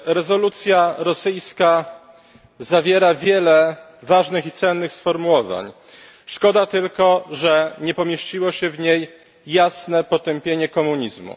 Rezolucja rosyjska zawiera wiele ważnych i cennych sformułowań, szkoda tylko, że nie pomieściło się w niej jasne potępienie komunizmu.